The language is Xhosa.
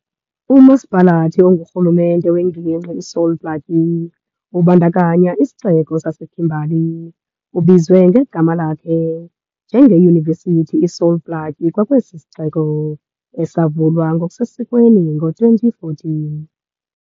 UMasipalathi ongurhulumente wengingqi iSol Plaatje, ubandakanya isixeko saseKimberley, ubizwe ngegama lakhe, nje ngeYunivesithi iSol Plaatje kwakwesi siXeko, esavulwa ngokusesikweni ngo-2014.